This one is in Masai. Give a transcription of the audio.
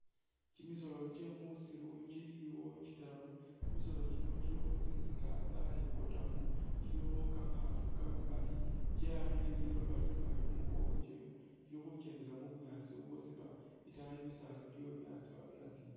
Kyimisoolo kyemusiru kyiliwo kyitaru, kyimisoolo kyino kyilikho tsinzika tsayikotamo, kyilikho kama'afu kamamali ,kyeyakhile liloba limali khumukongo kyewe, kyili khukyendela ,u bunyaasi u ubwosiba itayi bisaala biliyo byatsowa byasimba